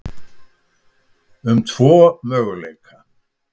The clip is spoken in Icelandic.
um tvo möguleika.